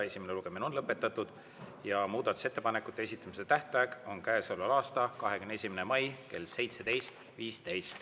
Esimene lugemine on lõpetatud ja muudatusettepanekute esitamise tähtaeg on käesoleva aasta 21. mai kell 17.15.